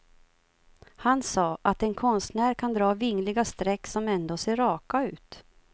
Han sa att en konstnär kan dra vingliga streck som ändå ser raka ut.